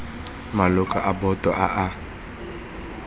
maloko a boto a a